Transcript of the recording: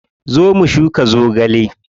Zo mu shuka zogale.